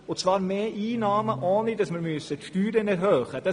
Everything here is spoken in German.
Es geht darum, mehr einzunehmen, ohne dass wir die Steuern erhöhen müssen.